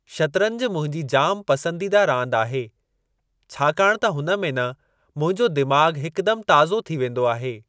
शतरंज मुंहिंजी जाम पसंदीदा रांदि आहे छाकाणि त हुन में न मुंहिंजो दिमाग़ हिकुदमि ताज़ो थी वेंदो आहे।